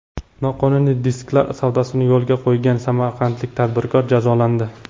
Noqonuniy disklar savdosini yo‘lga qo‘ygan samarqandlik tadbirkor jazolandi.